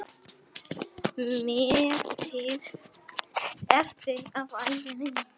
metri eftir af ævi minni.